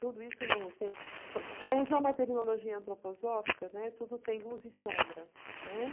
Tudo isso não tem... Para usar uma terminologia antroposófica, né, tudo tem luz e sombra, né?